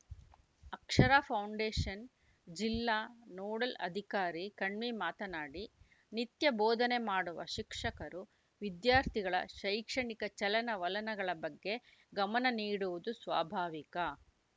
ಅಕ್ಷರ foundation ಜಿಲ್ಲಾ nodal ಅಧಿಕಾರಿ ಕಣ್ವಿ ಮಾತನಾಡಿ ನಿತ್ಯ ಬೋಧನೆ ಮಾಡುವ ಶಿಕ್ಷಕರು ವಿದ್ಯಾರ್ಥಿಗಳ ಶೈಕ್ಷಣಿಕ ಚಲನವಲನಗಳ ಬಗ್ಗೆ ಗಮನ ನೀಡುವುದು ಸ್ವಾಭಾವಿಕ